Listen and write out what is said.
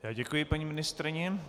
Já děkuji paní ministryni.